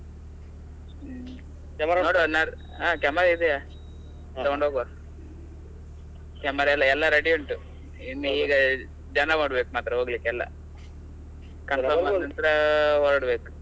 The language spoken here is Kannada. ಹ್ಮ್ ಹಾ camera ಇದೆಯ ತಗೊಂಡು ಹೋಗುವ camera ಎಲ್ಲ ಎಲ್ಲ ready ಉಂಟು ಇನ್ನು ಈಗ ಜನ ಮಾಡ್ಬೇಕು ಮಾತ್ರ ಹೋಗ್ಲಿಕ್ಕೆ ಎಲ್ಲಾ ಅಲ್ಲಿ ನಂತ್ರ ಹೊರಡ್ಬೇಕು.